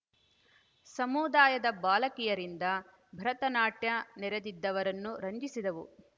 ಸಮುದಾಯದ ಬಾಲಕಿಯರಿಂದ ಭರತನಾಟ್ಯ ನೆರದಿದ್ದವರನ್ನು ರಂಜಿಸಿದವು